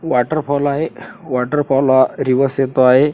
Waterfall आहे waterfall reverse येतो आहे.